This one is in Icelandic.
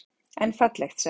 En fallegt, sagði hún.